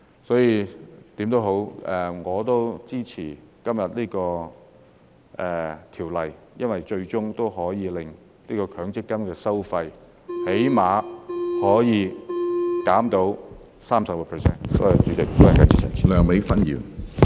所以，無論如何，我支持今天這項修例，因為最終可以令強積金的收費減低最少 30%。